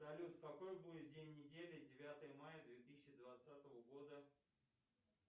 салют какой будет день недели девятое мая две тысячи двадцатого года